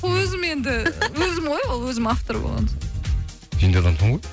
өзім енді өзім ғой ол өзім автор болған соң сен де адамсың ғой